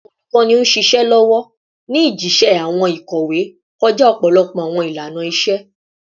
Awọn olukọni n ṣiṣẹ lọwọ ni jiṣẹ awọn ikowe kọja ọpọlọpọ awọn ilana-iṣe